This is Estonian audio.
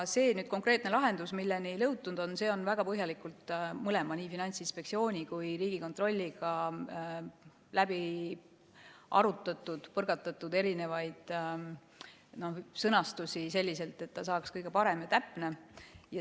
See konkreetne lahendus, milleni on jõutud, on väga põhjalikult mõlemaga, nii Finantsinspektsiooni kui ka Riigikontrolliga läbi arutatud, põrgatatud erisuguseid sõnastusi selliselt, et see saaks kõige parem ja täpsem.